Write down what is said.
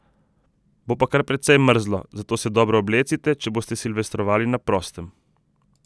Bo pa kar precej mrzlo, zato se dobro oblecite, če boste silvestrovali na prostem.